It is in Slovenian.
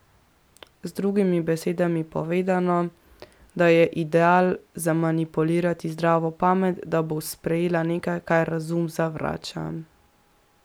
Z drugimi besedami povedano, da je ideal zmanipulirati zdravo pamet, da bo sprejela nekaj, kar razum zavrača.